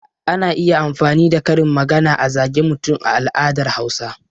Ana iya amfani da karin magana a zage mutum a al'adar Hausawa.